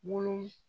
Wolon